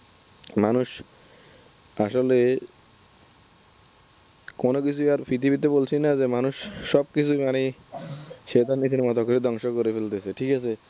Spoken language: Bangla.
মানুষ আসলে কোন কিছুই আর পৃথিবীতে আর বলছি না যে মানুষ সবকিছুই সে তার নিজের মতো করে ধ্বংস করে ফেলতেছে ঠিক আছে?